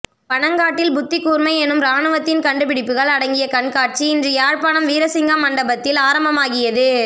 பனங்காட்டில் புத்திகூர்மை எனும் இராணுவத்தின் கண்டுபிடிப்புகள் அடங்கிய கண்காட்சி இன்று யாழ்ப்பாணம் வீரசிங்கம் மண்டபத்தில் ஆரம்பமாகியது